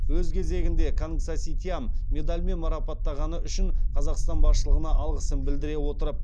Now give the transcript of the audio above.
өз кезегінде кангсаситиам медальмен марапаттағаны үшін қазақстан басшылығына алғысын білдіре отырып